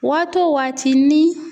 Waati wo waati ni